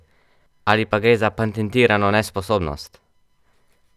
Ali pa gre za patentirano nesposobnost?